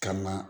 Kama